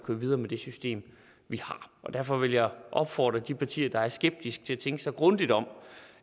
videre med det system vi har derfor vil jeg opfordre de partier der er skeptiske til at tænke sig grundigt om